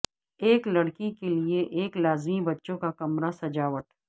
ایک لڑکی کے لئے ایک لازمی بچوں کا کمرہ سجاوٹ